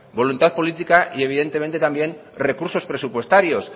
voluntad política y evidentemente también recursos presupuestarios